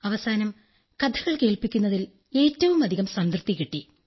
അവസാനം കഥകൾ കേൾപ്പിക്കുന്നതിൽ ഏറ്റവുമധികം സംതൃപ്തി കിട്ടി